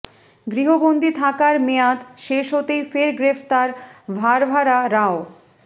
গৃহবন্দী থাকার মেয়াদ শেষ হতেই ফের গ্রেফতার ভারভারা রাও